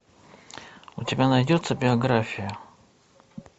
у тебя найдется биография